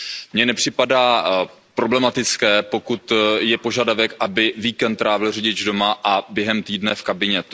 Mně nepřipadá problematické, pokud je požadavek, aby víkend trávil řidič doma a během týdne v kabině.